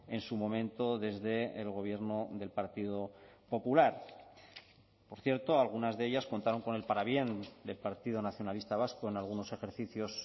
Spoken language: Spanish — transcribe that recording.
en su momento desde el gobierno del partido popular por cierto algunas de ellas contaron con el parabién del partido nacionalista vasco en algunos ejercicios